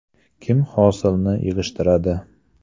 Kim hosilni yig‘ishtiradi?